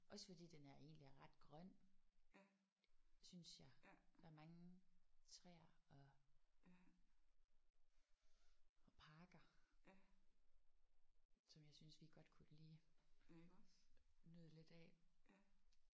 Også fordi den er egentlig er ret grøn synes jeg. Der er mange træer og og parker som jeg synes vi godt kunne lige nyde lidt af